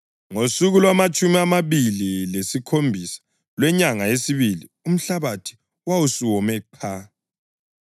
Ngosuku lwamatshumi amabili lesikhombisa lwenyanga yesibili umhlabathi wawusuwome qha.